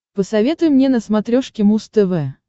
посоветуй мне на смотрешке муз тв